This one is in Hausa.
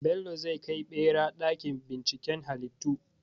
Bello zai kai ɓera ɗakin binciken halittu.